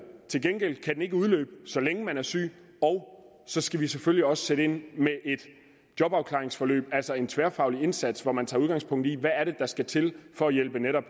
til gengæld kan den ikke udløbe så længe man er syg og så skal vi selvfølgelig også sætte ind med et jobafklaringsforløb altså en tværfaglig indsats hvor man tager udgangspunkt i hvad der skal til for at hjælpe netop